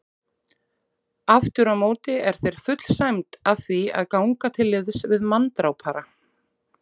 Afturámóti er þér full sæmd að því að ganga til liðs við manndrápara.